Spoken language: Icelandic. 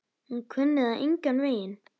Hún kunni það engan veginn.